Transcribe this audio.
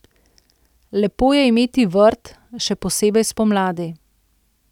Lepo je imeti vrt, še posebej spomladi.